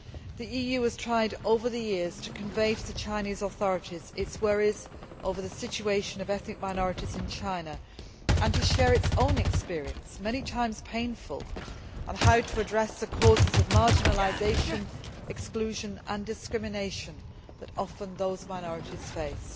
The EU has tried, over the years, to convey to the Chinese authorities its worries over the situation of ethnic minorities in China and to share its own experience, many times painful, on how to address the causes of marginalisation, exclusion and discrimination that those minorities often face.